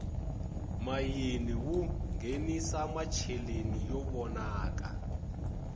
mayini wu nghenisa macheleni yo vonaka